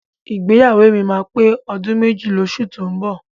Ìgbéyàwó mi máa pé ọdún méjì lóṣù tó ń bọ̀.